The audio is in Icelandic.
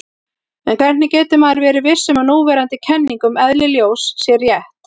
En hvernig getur maður verið viss um að núverandi kenning um eðli ljós sé rétt?